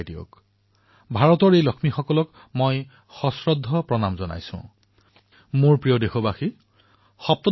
সেই ভাৱ সেই শব্দ ভাৰতৰ প্ৰতিগৰাকী লক্ষ্মী আজি এয়া যি আমি কথা পাতি আছো এনে বোধ হয় যে ইয়াৰ ভেঁটি ১৭শ শতাব্দীতেই স্থাপন হৈছিল